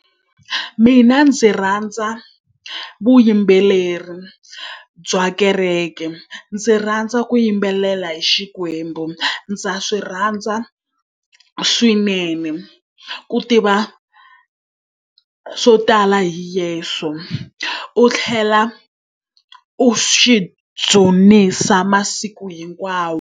Mina ndzi rhandza vuyimbeleri bya kereke. Ndzi rhandza ku yimbelela hi Xikwembu. Ndza swi rhandza swinene ku tiva swo tala hi Yeso, u tlhela u xi dzunisa masiku hinkwawo.